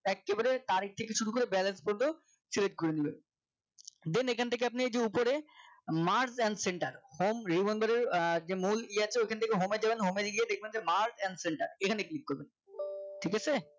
একেবারে তারিখ থেকে শুরু করে balance কত Select করে নেবেন then এইখান থেকে আপনি এই যে ওপরে Mark and centre home re boundary যে মূল ই আছে এখান থেকে home এ যাবেন home এ গিয়ে Mark and centre এখানে click করবেন ঠিক আছে